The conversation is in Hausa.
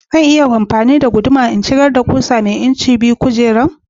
Za a iya amfani da gudumar a shigar da ƙusa mai inci biyu cikin kujerar?